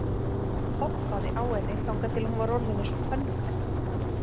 Hoppaði á henni þangað til hún var orðin eins og pönnukaka.